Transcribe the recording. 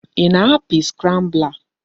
Ị na-apị scrambler?